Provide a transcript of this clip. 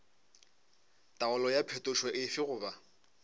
taolo ya phetošo efe goba